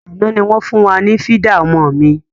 Àná ni wọn fun wá ní fídà ọmọ mi.